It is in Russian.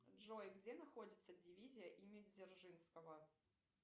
джой где находится дивизия имени дзержинского